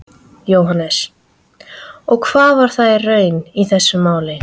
Jóhannes: Og var það raunin í þessu máli?